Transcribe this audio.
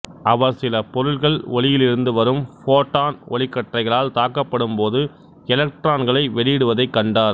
அவர் சில பொருட்கள் ஒளியிலிருந்து வரும் ஃபோட்டான் ஒளிக்கற்றைகளால் தாக்கப்படும்போது எலக்டிரான்களை வெளியிடுவதைக் கண்டார்